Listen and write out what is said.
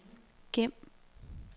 gem